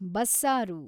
ಬಸ್ಸಾರು